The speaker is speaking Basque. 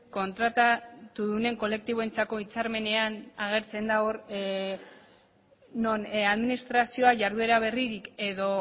kontratatudunen kolektiboentzako hitzarmenean agertzen da non administrazioa jarduera berririk edo